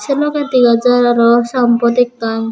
say logey degajar arow ayenbodbot ekan.